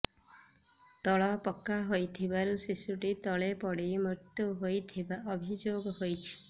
ତଳ ପକ୍କା ହୋଇଥିବାରୁ ଶିଶୁଟି ତଳେ ପଡି ମୃତ୍ୟୁ ହୋଇଥିବା ଅଭିଯୋଗ ହୋଇଛି